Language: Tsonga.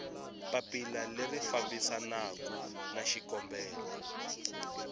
papila leri fambisanaku na xikombelo